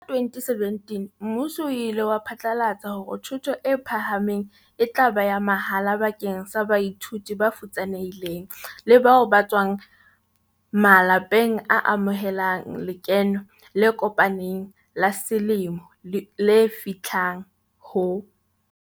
Ka 2017 mmuso o ile wa phatlalatsa hore thuto e phahameng e tla ba ya mahala bakeng sa baithuti ba futsane hileng le bao ba tswang ma lapeng a amohelang lekeno le kopaneng la selemo le fihlang ho.